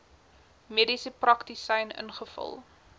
mediese praktisyn ingevul